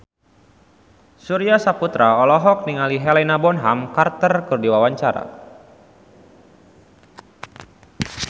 Surya Saputra olohok ningali Helena Bonham Carter keur diwawancara